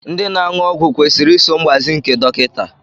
Ndị na-aṅụ ọgwụ kwesịrị iso mgbazi nke dọkịta